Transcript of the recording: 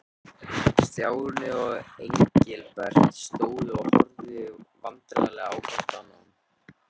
Stjáni og Engilbert stóðu og horfðu vandræðalegir hvor á annan.